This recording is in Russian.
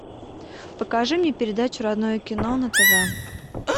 покажи мне передачу родное кино на тв